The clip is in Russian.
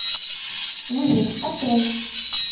выжить открой